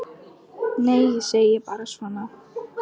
Nei, ég segi bara svona.